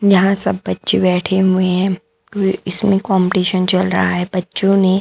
यहां सब बच्चे बैठे हुए हैं व इसमें कंपटीशन चल रहा है बच्चों ने--